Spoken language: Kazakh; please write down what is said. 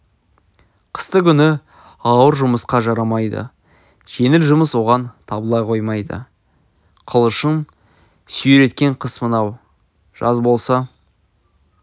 қысты күні ауыр жұмысқа жарамайды жеңіл жұмыс оған табыла қоймайды қылышын сүйреткен қыс мынау жаз болса